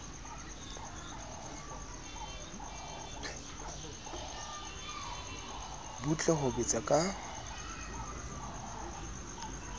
butle ka ho betsa ka